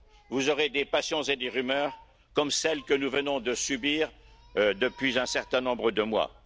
Vous aurez des passions et des rumeurs comme celles que nous venons de subir depuis un certain nombre de mois.